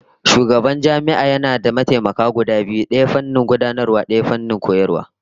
Shugaban jami'a yana da mataimaka guda biyu, daya fannin gudanarwa, daya fannin karantarwa